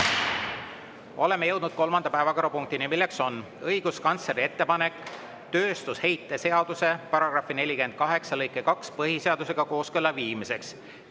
Oleme jõudnud kolmanda päevakorrapunktini, milleks on õiguskantsleri ettepanek tööstusheite seaduse § 48 lõike 2 põhiseadusega kooskõlla viimiseks.